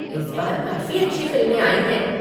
इस बार काफ़ी अच्छी फ़िल्में आयी हैं।